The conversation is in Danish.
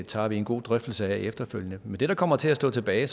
tager vi en god drøftelse af efterfølgende men det der så kommer til at stå tilbage